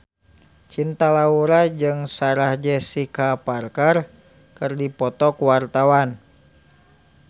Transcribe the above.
Cinta Laura jeung Sarah Jessica Parker keur dipoto ku wartawan